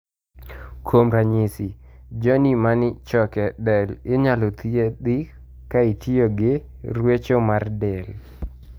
Kuom ranyisi, jony many choke del inyalo thiethi ka itiyo fi ruecho mar del.